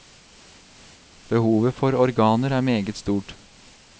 Behovet for organer er meget stort.